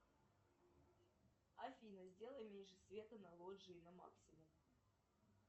афина сделай меньше света на лоджии на максимум